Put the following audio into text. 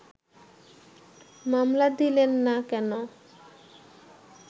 মামলা দিলেন না কেন